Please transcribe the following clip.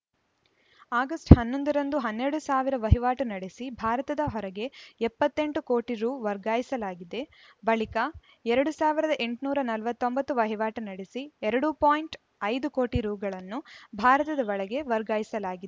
August ಹನ್ನೊಂದು ರಂದು ಹನ್ನೆರಡು ಸಾವಿರ ವಹಿವಾಟು ನಡೆಸಿ ಭಾರತದ ಹೊರಗೆ ಎಪ್ಪತ್ತ್ ಎಂಟು ಕೋಟಿ ರು ವರ್ಗಾಯಿಸಲಾಗಿದೆ ಬಳಿಕ ಎರಡ್ ಸಾವಿರದ ಎಂಟುನೂರ ನಲವತ್ತ್ ಒಂಬತ್ತು ವಹಿವಾಟು ನಡೆಸಿ ಎರಡು ಪಾಯಿಂಟ್ ಐದು ಕೋಟಿ ರುಗಳನ್ನು ಭಾರತದ ಒಳಗೇ ವರ್ಗಾಯಿಸಲಾಗಿ